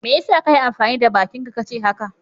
Me ya sa ka yi amfani da bakinka ka ce haka?